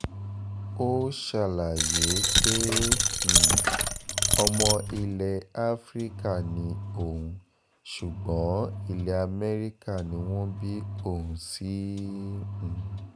ó ṣàlàyé pé um ọmọ ilẹ̀ afrika ni òun ṣùgbọ́n ilẹ̀ amẹ́ríkà ni wọ́n bí òun sí um